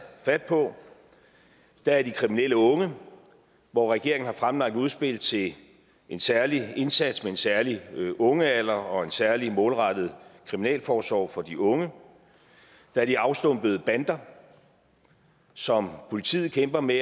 fat på der er de kriminelle unge hvor regeringen har fremlagt et udspil til en særlig indsats med en særlig ungealder og en særlig målrettet kriminalforsorg for de unge der er de afstumpede bander som politiet kæmper med